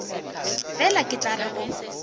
fela ke tla re go